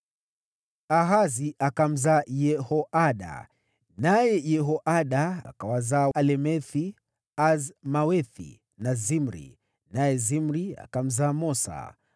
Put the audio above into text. Ahazi akamzaa Yehoada. Naye Yehoada akawazaa Alemethi, Azmawethi na Zimri, naye Zimri akamzaa Mosa.